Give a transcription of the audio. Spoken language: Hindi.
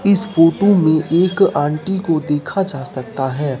इस फोटो में एक आंटी को देखा जा सकता है।